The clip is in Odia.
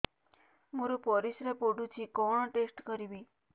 ମୋର ପରିସ୍ରା ପୋଡୁଛି କଣ ଟେଷ୍ଟ କରିବି